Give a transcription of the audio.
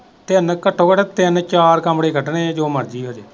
ਤਿੰਨ ਘੱਟੋ ਘੱਟ ਤਿੰਨ ਚਾਰ ਕਮਰੇ ਕੱਢਣੇ ਹੈ ਜੋ ਮਰਜੀ ਹੋ ਜੇ।